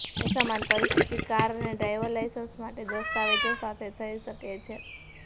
એક સમાન પરિસ્થિતિ કાર અને ડ્રાઈવર લાયસન્સ માટે દસ્તાવેજો સાથે થઇ શકે છે